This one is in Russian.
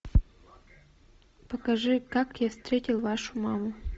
покажи как я встретил вашу маму